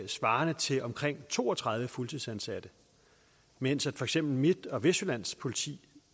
svarende til omkring to og tredive fuldtidsansatte mens for eksempel midt og vestjyllands politi